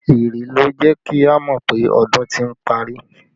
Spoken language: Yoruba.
Ìrì ló jẹ́ kí a mọ pé ọdún ti ń parí